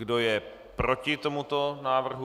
Kdo je proti tomuto návrhu?